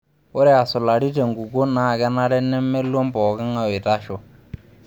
Ore asulari tenkukuo naa kenare nemeluam pookingae oitasho.